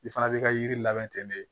I fana b'i ka yiri labɛn ten de